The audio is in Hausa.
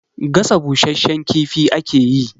Gasa bushasshen kifi ake yi.